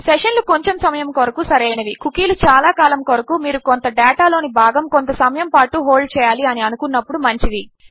session లు కొంచెం సమయము కొరకు సరైనవి -కుకీలు చాలా కాలము కొరకు -మీరు కొంత డేటా లోని భాగము కొంత సమయము పాటు హోల్డ్ చేయాలి అని అనుకున్నప్పుడు మంచివి